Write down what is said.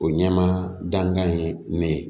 O ɲɛmaa dankan ye ne ye